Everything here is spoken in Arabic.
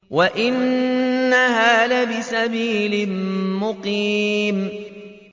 وَإِنَّهَا لَبِسَبِيلٍ مُّقِيمٍ